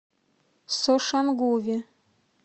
сошангуве